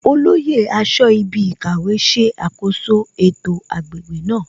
Olóyè aṣọ́ibikàwé ṣe àkoso ètò agbègbè náà